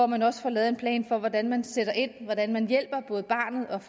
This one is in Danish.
man også lavet en plan for hvordan man sætter ind hvordan man hjælper både barnet